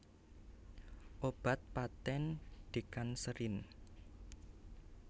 Obat patèn Decancerlin